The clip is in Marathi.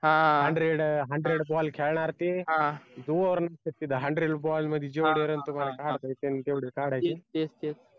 हा hundred hundred ball खेळणार ते hundred ball मध्ये जेवढे रण तेवढे काढायचे